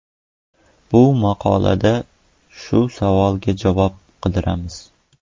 Bu maqolada shu savolga javob qidiramiz.